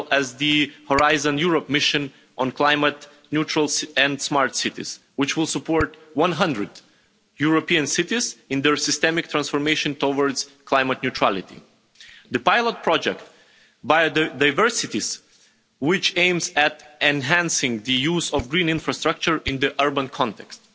as well as the Horizon Europe mission on climate neutral and smart cities, which will support 100 European cities in their systemic transformation towards climate neutrality and the Biodiverse Cities pilot project, which aims to enhance the use of green infrastructure in the urban context.